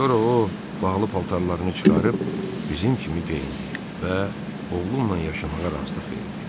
Sonra o, bağlı paltarlarını çıxarıb bizim kimi geyindi və oğlumla yaşamağa razılıq verdi.